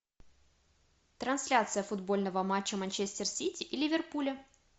трансляция футбольного матча манчестер сити и ливерпуля